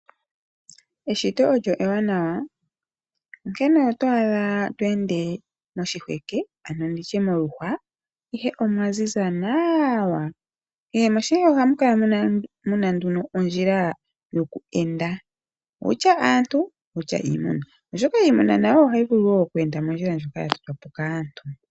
Eshito olyo ewanawa onkene oto adha to ende moshiheke ano nditye moluhwa ihe omwaziza nawa. Kehe moshiheke ohamu kala muna nduno ondjila yoku enda wutya aantu, wutya iimuna. Oshoka iimuna nayo ohayi vulu wo oku enda mondjila ndjoka ya totwapo kaantu.